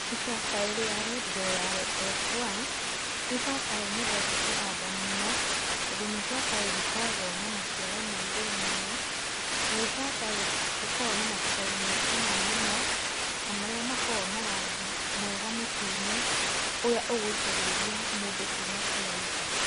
Ibabaĩ rĩa red Royale f1, nĩ ibabaĩ nyendete kũhanda mũno, tondũ nĩ ibabaĩ rĩkoragũo na maciaro ma igũrũ mũno, na nĩ ibabaĩ rĩkoragũo na mababaĩ me cama mũno, na marĩa makoragũo na rangi mwega mũtune, ũrĩa ũgũcagĩrĩria mũndũ kũma kũraihu.